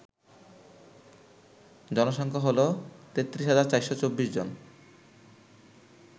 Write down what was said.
জনসংখ্যা হল ৩৩৪২৪ জন